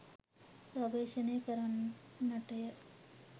ගවේෂණය කරන්නටය